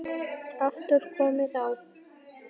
aftur komið á.